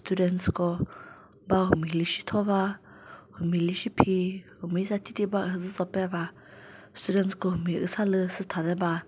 students ko ba humi lüsi thova humi lüsi phi humi sa thethiba uhüzücho peva students ko humi usalü sütha de ba.